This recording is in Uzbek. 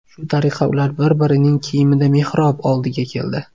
Shu tariqa, ular bir-birining kiyimida mehrob oldiga keldi.